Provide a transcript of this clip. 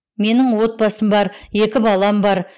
менің отбасым бар екі балам бар